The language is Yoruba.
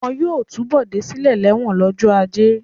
Wọn yóò tú Bọ̀dé sílẹ̀ lẹ́wọ̀n lọ́jọ́ ajé.